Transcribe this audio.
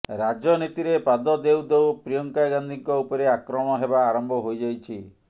ରାଜନୀତିରେ ପାଦ ଦେଉ ଦେଉ ପ୍ରିୟଙ୍କା ଗାନ୍ଧୀଙ୍କ ଉପରେ ଆକ୍ରମଣ ହେବା ଆରମ୍ଭ ହୋଇଯାଇଛି